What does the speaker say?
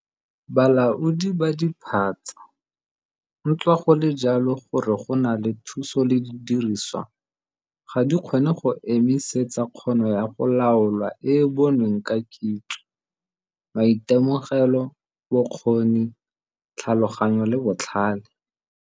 Bolaodi ba diphatsa, ntswa go le jalo gore go na le thuso le didiriswa, ga di kgone go emisetsa kgono ya go laola e e bonweng ka kitso, maitemogelo, bokgoni, tlhaloganyo le botlhale.